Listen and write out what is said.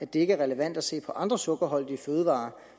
det ikke er relevant at se på andre sukkerholdige fødevarer